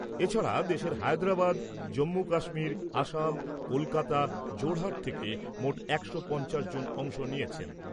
এছাড়া দেশের হায়দ্রাবাদ, জম্মু কাশ্মীর, অসম, কলকাতা, জোরহাট থেকে মোট একশো পঞ্চাশ জন অংশ নিয়েছেন।